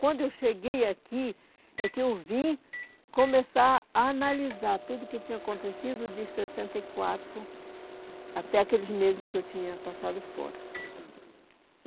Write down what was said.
Quando eu cheguei aqui, é que eu vim começar a analisar tudo o que tinha acontecido de sessenta e quatro até aqueles meses que eu tinha passado fora.